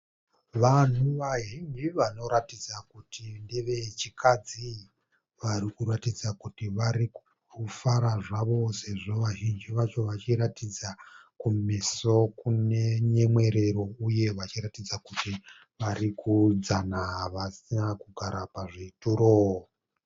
Vanhu vazhinji vanoratidza kuti ndevechikadzi. Varikuratidza kuti vari kufara zvavo, sezvo vazhinji vacho vachiratidza kumeso kunenyemwerero. Uye vachiratidza kuti varukudzana vasina kugara pazvituro.